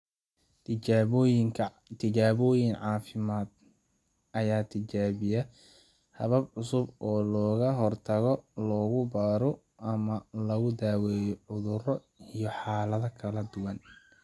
Tijaabooyin caafimaad ayaa tijaabiya habab cusub oo looga hortago, lagu baaro, ama lagu daweeyo cudurro iyo xaalado kala duwan.